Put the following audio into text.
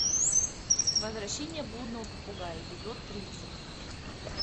возвращение блудного попугая эпизод тридцать